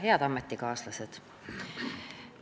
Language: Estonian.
Head ametikaaslased!